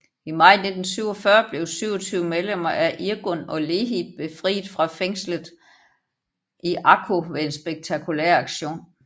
I maj 1947 blev 27 medlemmer af Irgun og Lehi befriet fra fængslet i Akko ved en spektakulær aktion